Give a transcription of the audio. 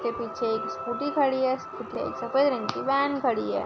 उसके पिछे एक स्कूटी खड़ी है। स सफ़ेद रंग की व्हॅन खड़ी है।